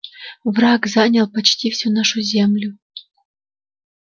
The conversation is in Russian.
враг занял почти всю нашу землю